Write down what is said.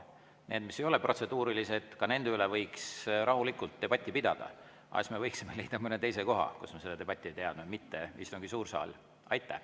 Need, mis ei ole protseduurilised, ka nende üle võiks rahulikult debatti pidada, aga siis me võiksime leida mõne teise koha, kus seda debatti, mitte suures istungisaalis.